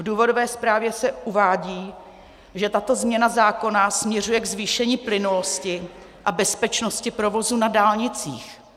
V důvodové zprávě se uvádí, že tato změna zákona směřuje ke zvýšení plynulosti a bezpečnosti provozu na dálnicích.